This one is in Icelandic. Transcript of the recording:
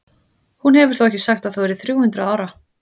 Hún hefur þó ekki sagt að þú yrðir þrjú hundruð ára?